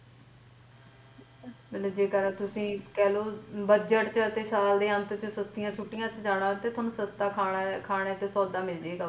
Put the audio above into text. ਮਤਲਬ ਜੇਕਰ ਤੁਸੀ ਕਹਿਲੋ ਪਤਝੜ ਚ ਯਾ ਸਾਲ ਦੇ ਅੰਤ ਚ ਸਰਦੀਆਂ ਛੁੱਟੀਆਂ ਚ ਜਾਣਾ ਤਾ ਤੁਹਾਨੂੰ ਸਸਤਾ ਸਸਤਾ ਖਾਣਾ ਤੇ ਸੌਦਾ ਮਿਲਜੇ ਗਾ ।